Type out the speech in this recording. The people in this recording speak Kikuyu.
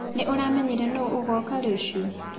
Nĩũramenya nũ agoka rũcĩũ?